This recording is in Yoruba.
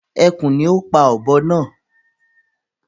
Ẹkùn ni o pá ọ̀bọ naa